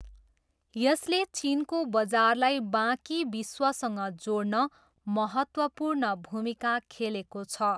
यसले चिनको बजारलाई बाँकी विश्वसँग जोड्न महत्त्वपूर्ण भूमिका खेलेको छ।